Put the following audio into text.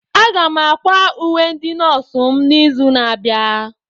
Aga m ákwà uwe ndị nọọsụ m n'izu na-abịa.